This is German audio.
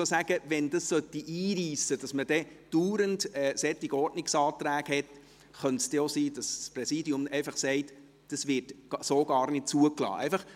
Sollte es einreissen, sodass man andauernd solche Ordnungsanträge hätte, könnte es auch sein, dass das Präsidium einfach sagt, dies werde so gar nicht zugelassen.